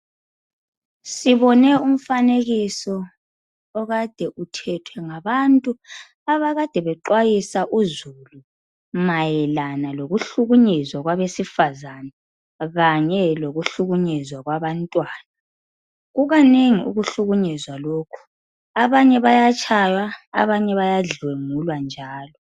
Sibone umfanekiso okade uthethwe ngabantu abakade bexwayisa uzulu ,mayelana lokuhlukunyezwa kwabesifazane kanye lokuhlukunyezwa kwabantwana .Kukanengi ukuhlukunyezwa lokhu ,abanye bayatshaywa ,abanye bayadlwengulwa njalo.